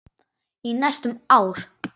Í næstum ár.